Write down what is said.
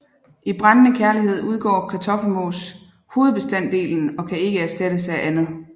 I brændende kærlighed udgør kartoffelmos hovedbestanddelen og kan ikke erstattes af andet